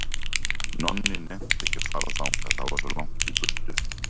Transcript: Nonni nennti ekki að fara þangað, það var svo langt í burtu.